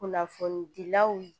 Kunnafoni dilaw